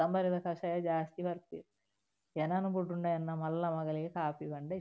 ಕೊತ್ತಂಬರಿದ ಕಷಾಯ ಜಾಸ್ತಿ ಪರ್ಪೆರ್ ಎನನ್ ಬುಡುಂಡ ಎನ್ನ ಮಲ್ಲ ಮಗಲೆಗ್ ಕಾಫಿ ಪಂಡ ಇಷ್ಟ.